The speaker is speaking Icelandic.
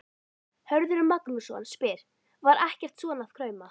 Hörður Magnússon spyr: Var ekkert svona að krauma?